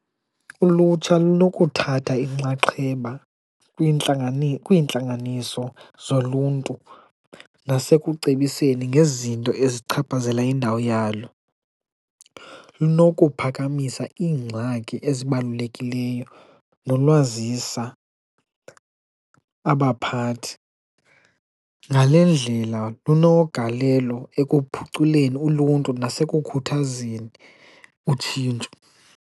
Ulutsha lokuthatha inxaxheba kwiintlanganiso zoluntu nasekucebiseni ngezinto ezichaphazela indawo yalo, lunokuphakamisa iingxaki ezibalulekileyo nolwazisa abaphathi. Ngale ndlela lunogalelo ekuphuculeni uluntu nasekukhuthazeni utshintsho.